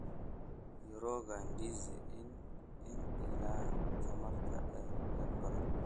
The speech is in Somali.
Mirooga ndizi ni ilaha tamarta ee dad badan.